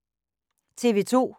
TV 2